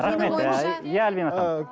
рахмет иә альбина ханым